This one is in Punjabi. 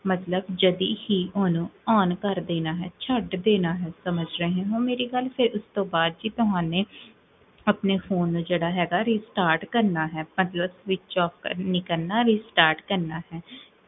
ਮਤਲਬ, ਜਦੀ ਹੀ ਓਦੋ on ਕਰ੍ਦੇਨਾ ਹੈ, ਛਡ ਦੇਣਾ ਹੈ ਸਮਝ ਰਹੇ ਹੋ ਮੇਰੀ ਗਲ, ਫੇਰ ਉਸ ਤੋਂ ਬਾਦ ਤੁਹਾਨੇ ਆਪਣੇ phone ਨੂੰ ਜੇਹੜਾ ਹੈਗਾ restart ਕਰਨਾ ਹੈਗਾ ਮਤਲਬ switch off ਨੀ ਕਰਨਾ, restart ਕਰਨਾ ਹੈ